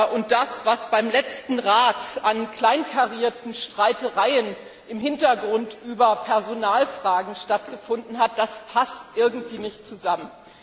und das, was beim letzten Rat an kleinkarierten Streitereien im Hintergrund über Personalfragen stattgefunden hat, passen irgendwie nicht zusammen.